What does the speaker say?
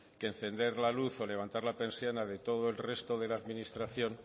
que encender la luz o levantar la persiana de todo el resto de la administración